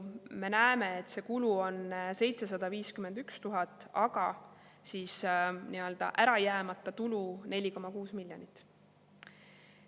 Me näeme, et kokku on see kulu 751 000 eurot, aga nii-öelda ära jäänud tulu on 4,6 miljonit.